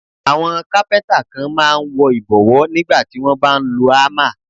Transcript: Àwọn Kápẹ́ńtà kan máa ń wọ ìbọ̀wọ́ nígbà tí wón bá ń lo ámà